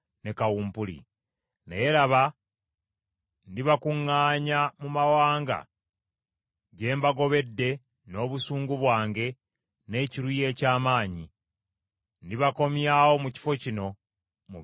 Naye laba, ndibakuŋŋaanya mu mawanga gye mbagobedde n’obusungu bwange n’ekiruyi eky’amaanyi; ndibakomyawo mu kifo kino, mubeere n’emirembe.